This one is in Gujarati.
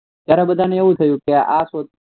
ત્યારે બધાને એવું થયું કે આ શોધ